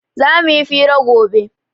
Zamu yi fira gobe